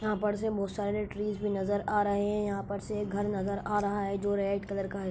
यहाँ पर से बहुत सारे ट्रीज भी नजर आ रहे हैं यहाँ पर से एक घर नजर आ रहा है जो रेड कलर का है।